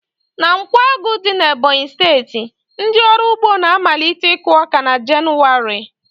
Na Nkwágu dị na Ebọnyi steeti, ndị ọrụ ugbo na-amalite iku ọka na Jenụwarị